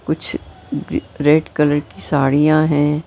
कुछ red colour की साड़ियां हैं।